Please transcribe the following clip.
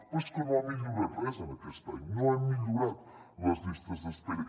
però és que no ha millorat res en aquest any no hem millorat les llistes d’espera